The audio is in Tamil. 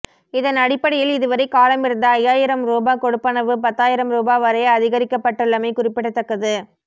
இதன் அடிப்படையில் இதுவரை காலமிருந்த ஐயாயிரம் ரூபா கொடுப்பனவு பத்தாயிரம் ரூபா வரை அதிகரிக்கப்பட்டுள்ளமை குறிப்பிடத்தக்கது